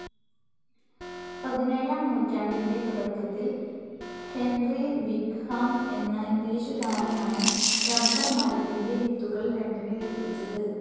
പതിനേഴാം നൂറ്റാണ്ടിന്റെ തുടക്കത്തിൽ ഹെന്രി വിക്‌ഹാം എന്ന ഇംഗ്ലീഷുകാരനാണ്, റബ്ബർ മരത്തിന്റെ വിത്തുകൾ ലണ്ടനിലെത്തിച്ചത്.